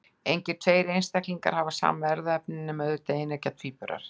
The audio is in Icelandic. Engir tveir einstaklingar hafa sama erfðaefni, nema auðvitað eineggja tvíburar.